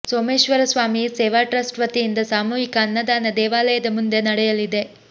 Someshwara Swami Seva trust ವತಿಯಿಂದ ಸಾಮೂಹಿಕ ಅನ್ನದಾನ ದೇವಾಲಯದ ಮುಂದೆ ನಡೆಯಲಿದೆ